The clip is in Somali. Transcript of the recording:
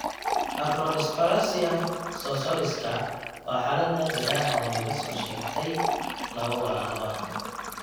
Acrodysplasia scoliosiska waa xaalad naadir ah oo laga soo sheegay laba walaalo ah.